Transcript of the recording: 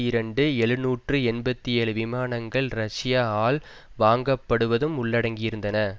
இரண்டு எழுநூற்று எண்பத்தி ஏழு விமானங்கள் ரஷ்ய ஆல் வாங்கப்படுவதும் ஊள்ளடங்கியிருந்தன